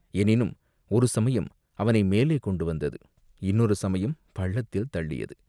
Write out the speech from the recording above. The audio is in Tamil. எனினும் ஒரு சமயம் அவனை மேலே கொண்டு வந்தது, இன்னொரு சமயம் பள்ளத்தில் தள்ளியது.